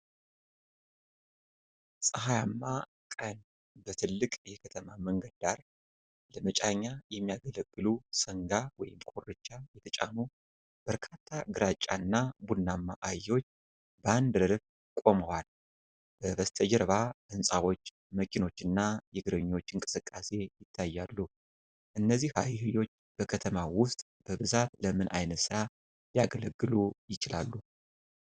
ፀሐያማ ቀን፣ በትልቅ የከተማ መንገድ ዳር፣ ለመጫኛ የሚያገለግሉ ሰንጋ ወይም ኮርቻ የተጫኑ በርካታ ግራጫ እና ቡናማ አህዮች በአንድ ረድፍ ቆመዋልበስተጀርባ ሕንፃዎች፣ መኪኖች እና የእግረኞች እንቅስቃሴ ይታያሉ። እነዚህ አህዮች በከተማው ውስጥ በብዛት ለምን ዓይነት ሥራ ሊያገለግሉ ይችላሉ?